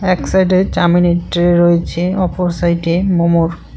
এক সাইডে চাউমিনের ট্রে রয়েছে অপর সাইডে মোমোর।